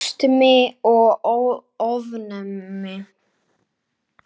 Astmi og ofnæmi